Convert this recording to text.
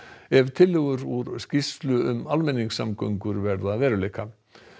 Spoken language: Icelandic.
ef tillögur úr skýrslu um almenningssamgöngur verða að veruleika